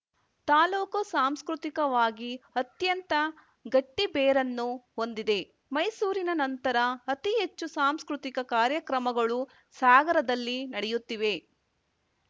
ತಾಲೂಕು ಸಾಂಸ್ಕೃತಿಕವಾಗಿ ಅತ್ಯಂತ ಗಟ್ಟಿಬೇರನ್ನು ಹೊಂದಿದೆ ಮೈಸೂರಿನ ನಂತರ ಅತಿಹೆಚ್ಚು ಸಾಂಸ್ಕೃತಿಕ ಕಾರ್ಯಕ್ರಮಗಳು ಸಾಗರದಲ್ಲಿ ನಡೆಯುತ್ತಿವೆ